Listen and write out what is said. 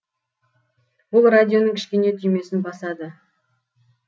бұл радионың кішкене түймесін басады